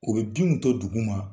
U be binw to dugu ma